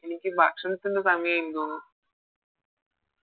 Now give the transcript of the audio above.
എനിക്ക് ഭക്ഷണത്തിൻറെ സമയായി തോന്നു